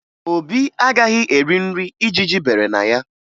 Obi agaghị eri nri ijiji bere na ya